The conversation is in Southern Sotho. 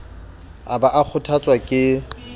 a ba a kgothotswa ke